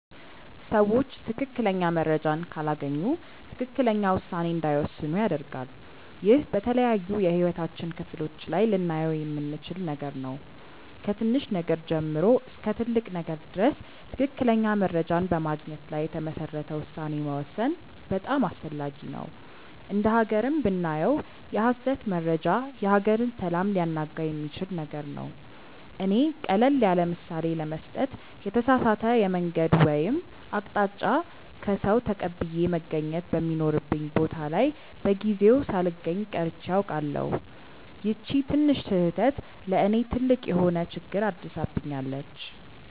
ሰዎች ትክክለኛ መረጃን ካላገኙ ትክክለኛ ውሳኔ እንዳይወስኑ ያደርጋል። ይህ በተለያዩ የህይወታችን ክፍሎች ላይ ልናየው የምንችል ነገር ነው። ከትንሽ ነገር ጀምሮ እስከ ትልቅ ነገር ድረስ ትክክለኛ መረጃን በማግኘት ላይ የተመሰረተ ውሳኔ መወሰን በጣም አስፈላጊ ነው። እንደ ሃገርም ብናየው የሐሰት መረጃ የሀገርን ሰላም ሊያናጋ የሚችል ነገር ነው። እኔ ቀለል ያለምሳሌ ለመስጠት የተሳሳተ የመንገድ ወይም አቅጣጫ ከሰዉ ተቀብዬ መገኘት በሚኖርብኝ ቦታ ላይ በጊዜው ሳልገኝ ቀርቼ አውቃለሁ። ይቺ ትንሽ ስህተት ለእኔ ትልቅ የሆነ ችግር አድርሳብኛለች።